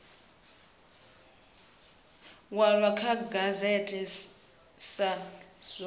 walwa kha gazette sa zwo